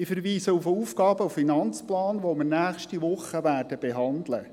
Ich verweise auf den Aufgaben- und Finanzplan (AFP), den wir in der kommenden Woche behandeln werden.